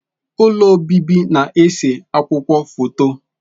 Ụlọ obibi na ese akwụkwọ foto